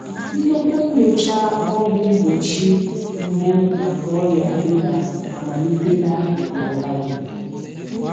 Nnukwu nyocha ọgwụ mgbochi mbụ maka ọrịa ịba amalitela na Malawi.